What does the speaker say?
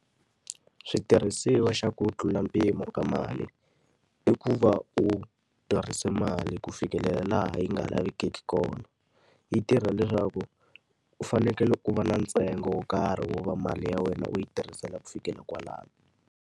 Switirhisiwa xa ku tlula mpimo ka mali, i ku va u tirhise mali ku fikelela laha yi nga lavekeki kona. Yi tirha leswaku, u fanekele u va na ntsengo wo karhi wo va mali ya wena u yi tirhisela ku fikela kwalano.